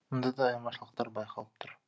мұнда да айырмашылықтар байқалып тұр